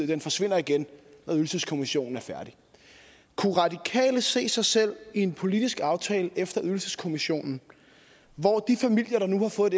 den forsvinder igen når ydelseskommissionen er færdig kunne radikale se sig selv i en politisk aftale efter ydelseskommissionen hvor de familier der nu har fået